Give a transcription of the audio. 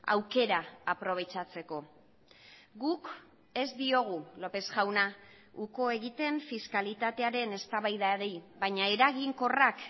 aukera aprobetxatzeko guk ez diogu lópez jauna uko egiten fiskalitatearen eztabaidari baina eraginkorrak